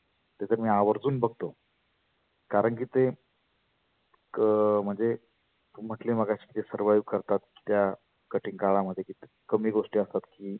ते तर मी आवर्जुन बघतो. कारण की ते एक अं म्हणजे तु म्हटली मगाशी की servive करतात त्या कठीन काळामध्ये कमी गोष्टी असतात की